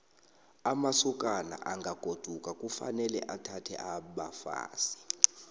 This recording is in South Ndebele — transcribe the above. amasokana angagoduka kufanele athathe abafazi